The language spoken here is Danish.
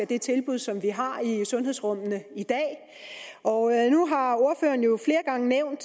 det tilbud som vi har i sundhedsrummene i dag og nu har ordføreren jo flere gange nævnt